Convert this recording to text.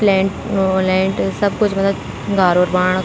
प्लैंट उ लेंट सब कुछ मलब घार और बनाना।